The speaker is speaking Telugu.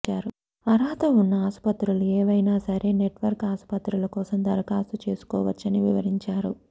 అర్హత ఉన్న ఆసుపత్రుల ఏవైనా సరే నెట్వర్క్ ఆసుపత్రుల కోసం దరఖాస్తు చేసుకోవచ్చని వివరించారు